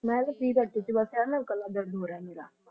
ਮੈਂ ਟੀ ਪੀ ਬੀਤੀ ਸੇ ਬਾਸ ਏਵਿਯਨ ਗਲਾ ਦਰਦ ਹੋ ਰਹਾ ਮੀਰਾ